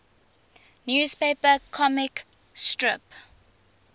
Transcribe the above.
newspaper comic strip